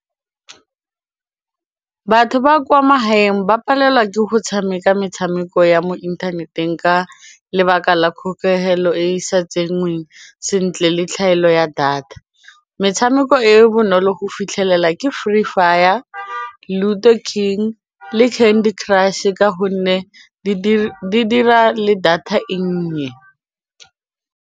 Batho ba kwa magaeng ba palelwa ke go tshameka metshameko ya mo inthaneteng ka lebaka la kgokegelo e sa tsenngweng sentle le tlhaelo ya data, metshameko e e bonolo go fitlhelela ke free fire, ludo king le candy crush ka gonne di dira le data e nnye.